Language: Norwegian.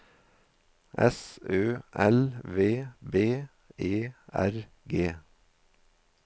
S Ø L V B E R G